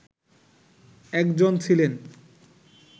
একজন ছিলেন